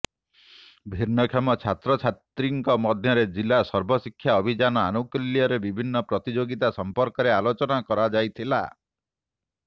ଭିନ୍ନକ୍ଷମ ଛାତ୍ରଛାତ୍ରୀଙ୍କ ମଧ୍ୟରେ ଜିଲ୍ଲା ସର୍ବଶିକ୍ଷା ଅଭିଯାନ ଆନୁକୁଲ୍ୟରେ ବିଭିନ୍ନ ପ୍ରତିଯୋଗୀତା ସଂପର୍କରେ ଆଲୋଚନା କରାଯାଇଥିଲା